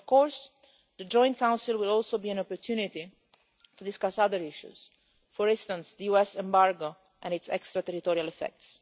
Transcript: Of course the Joint Council will also be an opportunity to discuss other issues, for instance the US embargo and its extraterritorial effects.